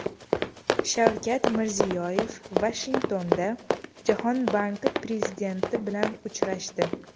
Shavkat Mirziyoyev Vashingtonda Jahon banki prezidenti bilan uchrashdi.